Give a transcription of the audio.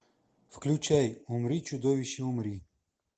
включай умри чудовище умри